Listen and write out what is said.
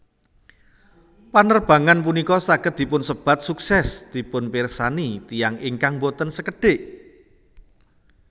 Panerbangan punika saged dipunsebat sukses dipunpirsani tiyang ingkang boten sekedhik